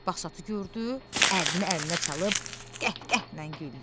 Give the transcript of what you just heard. Basatı gördü, əlini əlinə çalıb qəhqəhlə güldü.